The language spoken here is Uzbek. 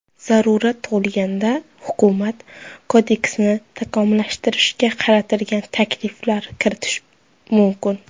Zarurat tug‘ilganda, hukumat kodeksni takomillashtirishga qaratilgan takliflar kiritishi mumkin.